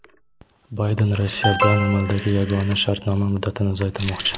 Bayden Rossiya bilan amaldagi yagona shartnoma muddatini uzaytirmoqchi.